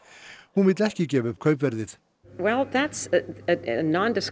hún vill ekki gefa upp kaupverðið